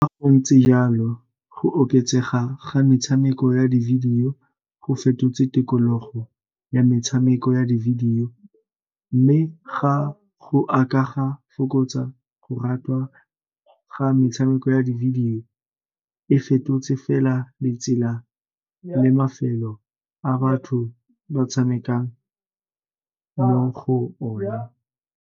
Ga go ntse jalo go oketsega ga metshameko ya di-video go fetotse tikologo ya metshameko ya di-video, mme ga go ka fokotsa go metshameko ya di-video e fetotse fela ditsela le mafelo a batho ba tshamekang mo go ona.